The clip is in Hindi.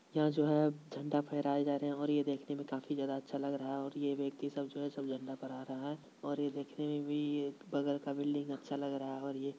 यहां जो है झंडा फहराया जा रहे है और ये देखने में काफी ज्यादा अच्छा लग रहा है और ये व्यक्ति सब जो है सब वह झंडा फहरा रहा है और यह देखने में भी बगल का बिल्डिंग काफी अच्छा लग रहा है ये